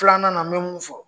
Filanan n bɛ mun fɔ.